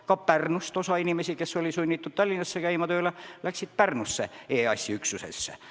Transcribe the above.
Ja Pärnust osa inimesi, kes olid sunnitud Tallinnasse tööle sõitma, läksid tööle Pärnusse EAS-i üksusesse.